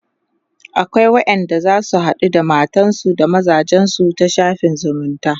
akwai wayanda zasu haɗu da matansu da mazajensu ta shafin zumunta